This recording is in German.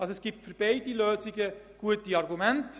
Es gibt also für beide Lösungen gute Argumente.